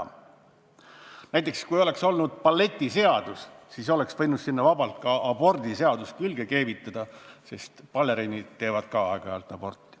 Kui meil näiteks oleks siin olnud balletiseadus, siis oleks võinud sellele vabalt ka abordiseaduse külge keevitada, sest baleriinid teevad samuti aeg-ajalt aborti.